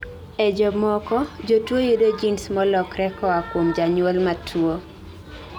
e jomoko, jotuwo yudo genes molokre koa kuom janyuol matuwo